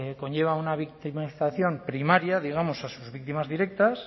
conlleva una victimización primaria digamos a sus víctimas directas